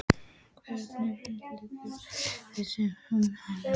Hvernig brást leikmannahópurinn við þessum ummælum?